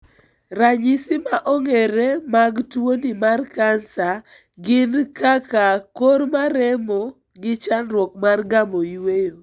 Ranyisi ma ong'ere mag tuoni mar kansa gi kaka kor maremo gi chandruok mar gamo yueyo.